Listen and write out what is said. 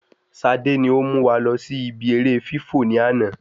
Sade ni o mú wa lọ sí ìbi eré fifọ́ ni àná